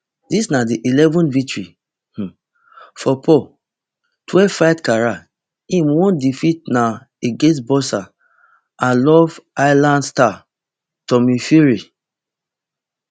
dis na di eleven th victory um for paul twelvefight career im one defeat na against boxer and love island star tommy fury